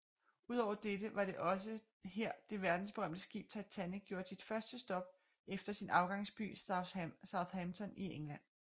Udover dette var det også her det verdensberømte skib Titanic gjorde sit første stop efter sin afgangsby Southampton i England